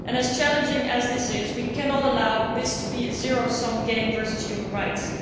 As challenging as this is, we cannot allow this to be a zero sum game versus human rights.